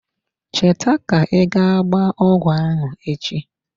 Cheta ka I ga gbaa ọgwụ ahụ echi.